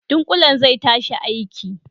Ɗunkulen zai tashi aiki.